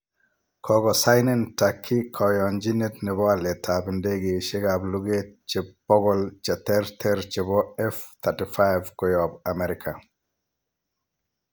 Kogosainen Turkey koyonchinet nebo alet ab ndegeisiek ab luget che 100 che ter ter chebo F-35 koyob Amerika.